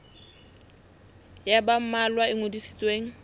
ya ba mmalwa e ngodisitsweng